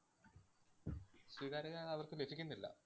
സ്വീകാര്യത അവര്‍ക്ക് ലഭിക്കുന്നില്ല.